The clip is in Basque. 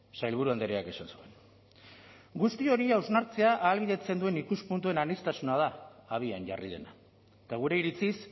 sailburu andreak esan zuen guzti hori hausnartzea ahalbidetzen duen ikuspuntuen aniztasuna da abian jarri dena eta gure iritziz